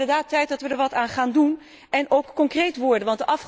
Kortom, het wordt inderdaad tijd dat we er wat aan gaan doen, en ook concreet worden.